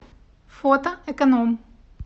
фото эконом